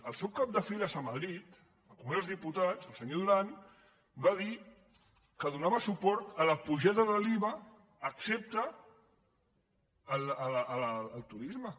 el seu cap de files a madrid al congrés dels diputats el senyor duran va dir que donava suport a la pujada de l’iva excepte al turisme